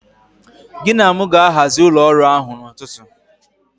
Gị na mụ ga-ahazi ụlọ ọrụ ahụ n'ụtụtụ.